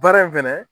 Baara in fɛnɛ